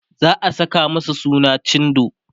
za'a Saka masa suna cindo